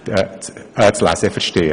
Nur darum geht es.